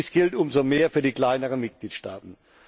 Dies gilt um so mehr für die kleineren Mitgliedstaaten.